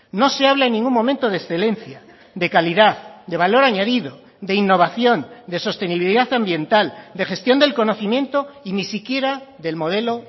no se habla en ningún momento de excelencia de calidad de valor añadido de innovación de sostenibilidad ambiental de gestión del conocimiento y ni siquiera del modelo